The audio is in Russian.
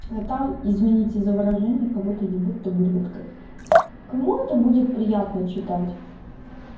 там извините за выражение кого-то ебут табуреткой кому это будет приятно читать